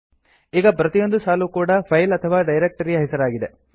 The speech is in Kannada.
ಈಗ ಪ್ರತಿಯೊಂದು ಸಾಲು ಕೂಡ ಫೈಲ್ ಅಥವಾ ಡೈರೆಕ್ಟ್ ರಿ ಯ ಹೆಸರಾಗಿದೆ